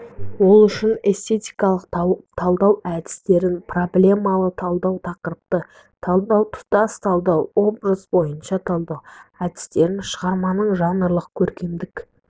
ол үшін эстетикалық талдау әдістерін проблемалы талдау тақырыптық талдау тұтас талдау образ бойынша талдау әдістерін шығарманың жанрлық көркемдік